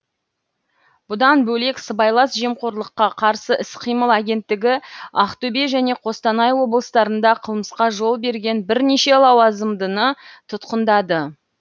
бұдан бөлек сыбайлас жемқорлыққа қарсы іс қимыл агенттігі ақтөбе және қостанай облыстарында қылмысқа жол берген бірнеше лауазымдыны тұтқындады